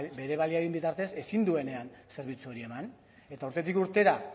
bere baliabideen bitartez ezin duenean zerbitzu hori eman eta urtetik urtera